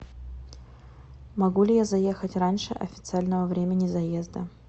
могу ли я заехать раньше официального времени заезда